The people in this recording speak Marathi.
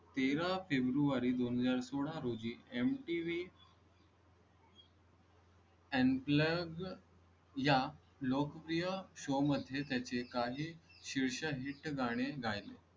तेरा फेब्रुवारी दोन हजार सोळा रोजी mtv unplugged या लोकप्रिय show मध्ये त्याचे काही शिवशाहीत गाणे गायले.